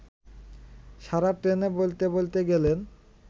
সারা ট্রেনে বলতে বলতে গেলেন